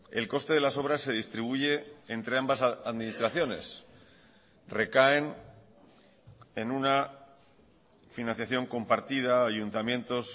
el coste de las obras se distribuye entre ambas administraciones recaen en una financiación compartida ayuntamientos